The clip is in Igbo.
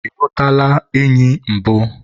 ị hụtụla enyi mbụ?